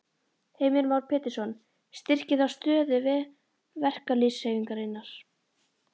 Heimir Már Pétursson: Styrkir það stöðu verkalýðshreyfingarinnar?